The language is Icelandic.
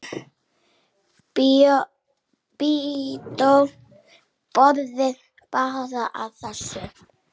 Lídó brosir bara að þessu.